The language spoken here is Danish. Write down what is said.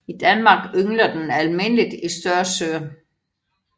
I Danmark yngler den almindeligt i større søer